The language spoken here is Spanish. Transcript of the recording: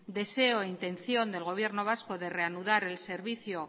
intención del gobierno vasco de reanudar el servicio